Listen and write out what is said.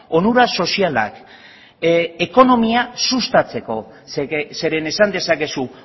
onura sozialak ekonomia sustatzeko zeren esan dezakezu